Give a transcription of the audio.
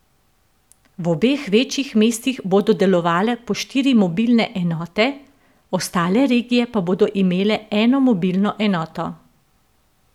V obeh večjih mestih bodo delovale po štiri mobilne enote, ostale regije pa bodo imele eno mobilno enoto.